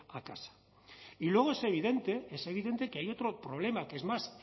a casa y luego es evidente es evidente que hay otro problema que es más